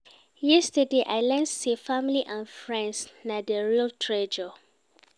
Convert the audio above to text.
Yesterday, I learn sey family and friends na di real treasure.